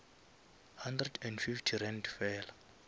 hundred and fifty rand fela